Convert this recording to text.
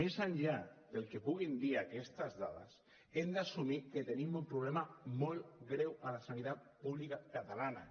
més enllà del que puguin dir aquestes dades hem d’assumir que tenim un problema molt greu a la sanitat pública catalana